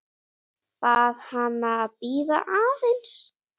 Bað hana að bíða aðeins.